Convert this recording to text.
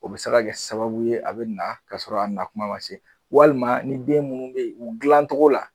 O bi se ka kɛ sababu ye a bɛ na ka sɔrɔ a na kuma ma se, walima ni den minnu be yen u gilancogo la